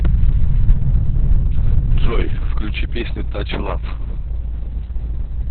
джой включи песню тач лав